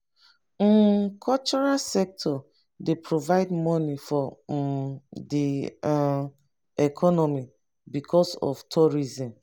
um cultural sector dey provide money for um di um economy because of tourism